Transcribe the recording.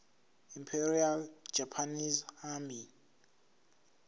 imperial japanese army